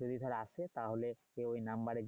যদি তারা আসে তাহলে যে নাম্বারে